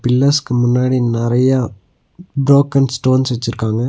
பில்லர்ஸ்க்கு முன்னாடி நறையா broken stones வெச்சிருக்காங்க.